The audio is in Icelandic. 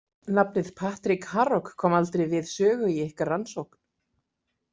Nafnið Patrik Harok kom aldrei við sögu í ykkar rannsókn?